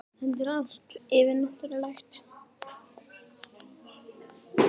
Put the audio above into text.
Þetta er allt yfirnáttúrulegt.